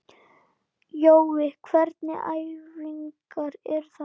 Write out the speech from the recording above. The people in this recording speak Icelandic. Jói, hvernig æfingar eru þetta?